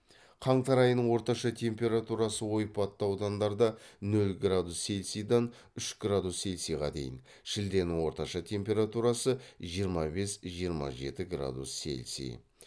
қаңтар айының орташа температурасы ойпатты аудандарда нөл градус цельсийдан үш градус цельсийға дейін шілденің орташа температурасы жиырма бес жиырма жеті градус цельсий